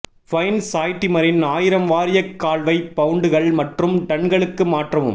pine சாய்டிமரின் ஆயிரம் வாரியக் கால்வை பவுண்டுகள் மற்றும் டன்களுக்கு மாற்றவும்